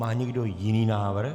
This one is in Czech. Má někdo jiný návrh?